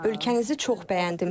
Ölkənizi çox bəyəndim.